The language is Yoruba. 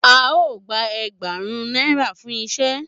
A o gba ẹẹgbarun naira fún iṣẹ.